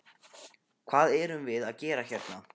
Hvað erum við að gera hérna?